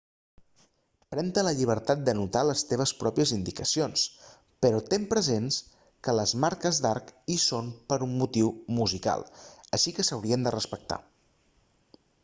pren-te la llibertat d'anotar les teves pròpies indicacions però ten present que les marques d'arc hi són per un motiu musical així que s'haurien de respectar